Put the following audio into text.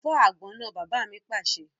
Fọ́ àgbọn náà! Bàbá mi pàṣẹ.